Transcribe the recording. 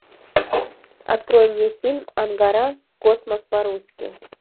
открой мне фильм ангара в космос по русски